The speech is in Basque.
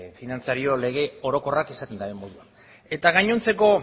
finantzario lege orokorrak esaten duen moduan eta gainontzeko